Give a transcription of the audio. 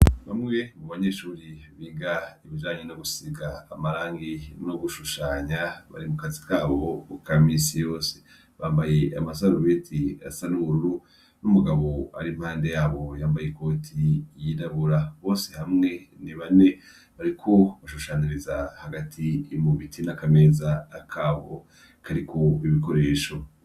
Bamwe mu banyeshuri biga ibijanyu no gusiga amarangi no gushushanya bari mu kazi kabo bu kamisi yose bambaye amasarumiti asanururu n'umugabo ari impande yabo yambaye ikoti yidabura bose hamwe ni bane bariko bashushaniriza hagati imubii na akameza akabo kariku ibikoresho.